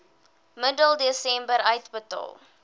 middel desember uitbetaal